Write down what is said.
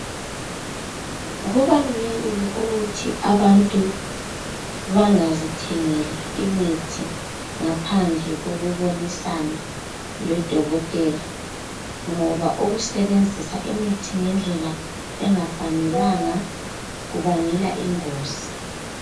Kubalulekile ukuthi abantu bangazithengeli imithi ngaphandle kokubonisana lodokotela ngoba ukusebenzisa imithi ngendlela engafanelanga kubangela ingozi.